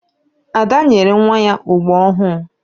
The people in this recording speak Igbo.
Ada nyere nwa ya ogbo ọhụụ.